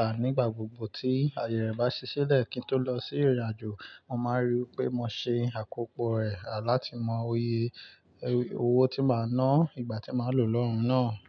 à, nígbà gbogbo tí ayẹ re bá ṣí silẹ̀ kí n tó lọ sí ìrìnàjò, mo máa ríi pé mo ṣe àkópò rẹ̀, à, láti mọ iyè owó tí màá ná, ìgbà tí màá lò lọ́hùn náà.